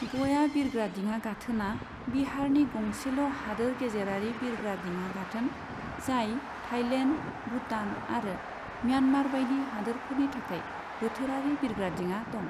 गया बिरग्रादिङा गाथोनआ बिहारनि गंसेल' हादोर गेजेरारि बिरग्रा दिङा गाथोन, जाय थाईलेन्ड, भूटान आरो म्यान्मार बायदि हादोरफोरनि थाखाय बोथोरारि बिरग्रादिङा दं।